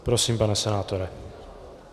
Prosím, pane senátore.